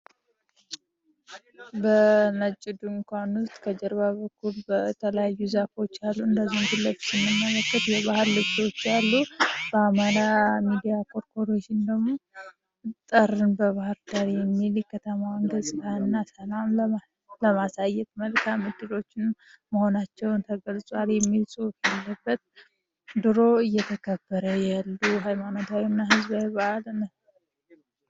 በነጭ ድንኳን ጀርባ የተለያዩ ዛፎች አሉ እንደዚሁም የባህል ልብሶች አሉ የአማራ ሚዲያ ኮርፖሬሽን ደግሞ ጥልን በባህር ዳር የሚል የባህርዳርን ከተማ ገፅታ ለማሳየት መልካም ዕድሎችን መሆናቸው ተገልጿል የሚል ሁፍ ድሮ የተከበረ ይኬድ ነበር።